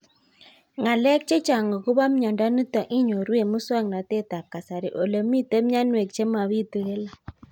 Ng'alek chechang' akopo miondo nitok inyoru eng' muswog'natet ab kasari ole mito mianwek che mapitu kila